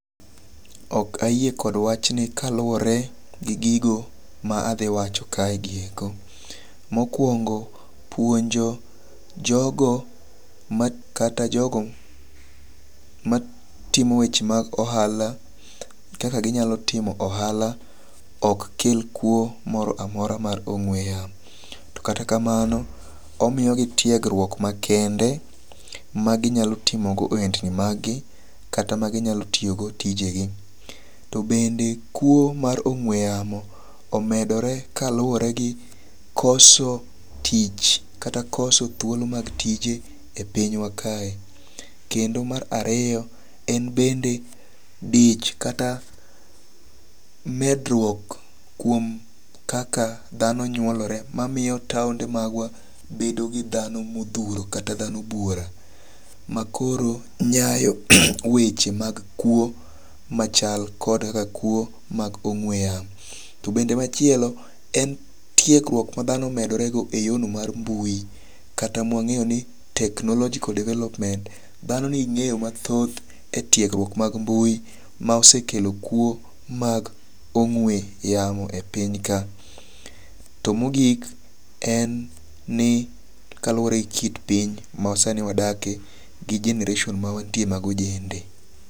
Ok ayie kod wachni kaluwore gi gigo ma adhi wacho kai go eko: mokwongo puonjo jogo ma kata jogo ma timo weche mag ohala kaka ginyalo timo ohala ok kel kuo moro amora mar ong'we yamo. To kata kamano omiyo gi tiegruok makende maginyalo timo go ohendni mag gi kata ma ginyalo tiyo go tije gi. To bende kuo mar ongwe yamo omedore kaluwore gu koso tich kata koso thuolo mag tije e pinywa kae .Kendo mar ariyo en bende dich kata medruok kuom kaka dhano nyuolore mamiyo taonde magwa bedo gi dhano modhuro kata dhano buora makoro nyayo weche mag kuo machal kod kaka kuo mag ong'we yamo. To bende machielo en tiegruok ma dhano medore go eyor no mar mbui kata mwang'eyo ni technological development. Dhano nigi ng'eyo mathoth etiegruok mag mbui ma osekelo kuo mag ong'we yamo e piny ka. To mogik en ni kaluwore gi kit piny ma sani wadakie gi generation ma wantie mag ojende.